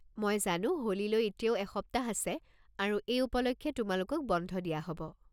মই জানো হোলীলৈ এতিয়াও এসপ্তাহ আছে আৰু এই উপলক্ষে তোমালোকক বন্ধ দিয়া হ'ব।